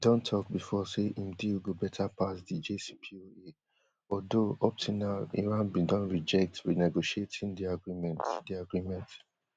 don talk before say im deal go better pass the jcpoa although up till now iran bin don reject renegotiating di agreement di agreement